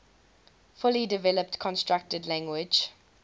fully developed constructed language